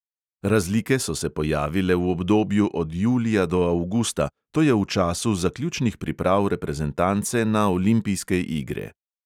Razlike so se pojavile v obdobju od julija do avgusta, to je v času zaključnih priprav reprezentance na olimpijske igre.